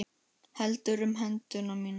Heldur um hendur mínar.